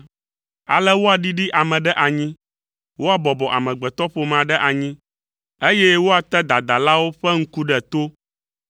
Ale woaɖiɖi ame ɖe anyi, woabɔbɔ amegbetɔƒomea ɖe anyi, eye woate dadalawo ƒe ŋku ɖe to.